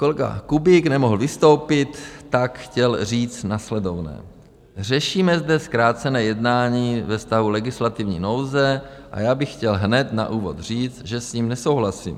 Kolega Kubík nemohl vystoupit, tak chtěl říct následovné: Řešíme zde zkrácené jednání ve stavu legislativní nouze a já bych chtěl hned na úvod říct, že s ním nesouhlasím.